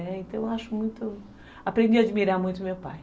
É, então, eu aprendi a admirar muito o meu pai.